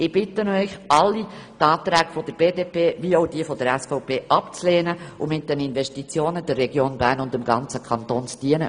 Ich bitte Sie alle, den Rückweisungsantrag der BDP sowie die Anträge der SVP abzulehnen und mit den Investitionen der Region und dem ganzen Kanton zu dienen.